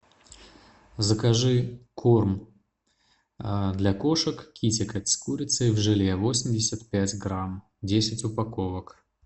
закажи корм для кошек китикет с курицей в желе восемьдесят пять грамм десять упаковок